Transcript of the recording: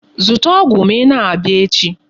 Zụta ọgwụ ma ị na-abịa echi.